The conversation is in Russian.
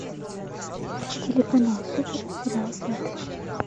телеканал супер сериал сваты